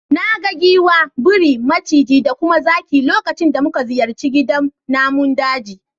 Na ga giwa, biri, maciji da kuma zaki lokacin da muka ziyarci gidan namun daji.